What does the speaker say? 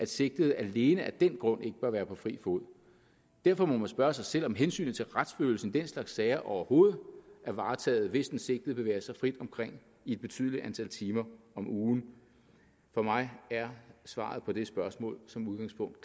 sigtede alene af den grund ikke bør være på fri fod derfor må man spørge sig selv om hensynet til retsfølelsen i den slags sager overhovedet er varetaget hvis den sigtede bevæger sig frit omkring i et betydeligt antal timer om ugen for mig er svaret på det spørgsmål som udgangspunkt